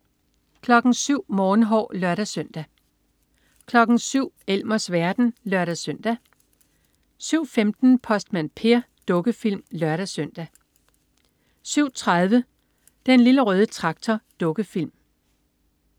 07.00 Morgenhår (lør-søn) 07.00 Elmers verden (lør-søn) 07.15 Postmand Per. Dukkefilm (lør-søn) 07.30 Den Lille Røde Traktor. Dukkefilm